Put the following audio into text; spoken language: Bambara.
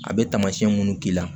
A bɛ taamasiyɛn minnu k'i la